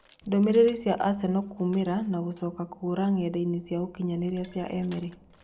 Ndũmĩrĩri cia Aseno kũũmĩra na gucoka kũũra ng'enda-inĩ cia ũkinyanĩria cia Emiri.